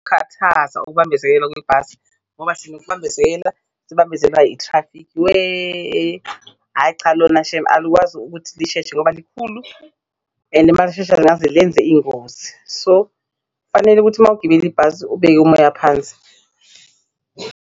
Khathaza ukubambezeleka kwebhasi ngoba sinokubambezela, sibambezelwa ithrafikhi weh-eh hhayi cha lona shemu alikwazi ukuthi lisheshe ngoba likhulu and malishesha lingaze lenze ingozi. So, kufanele ukuthi mawugibele ibhasi ubeke umoya phansi.